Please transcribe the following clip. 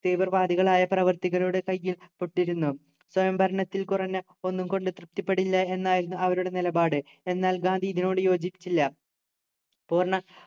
തീവ്രവാദികളായ പ്രവർത്തികളുടെ കയ്യിൽ പെട്ടിരുന്നു സ്വയംഭരണത്തിൽ കുറഞ്ഞ ഒന്നും കൊണ്ട് തൃപ്തിപ്പെടില്ല എന്നായിരുന്നു അവരുടെ നിലപാട് എന്നാൽ ഗാന്ധി ഇതിനോട് യോജിച്ചില്ല പൂർണ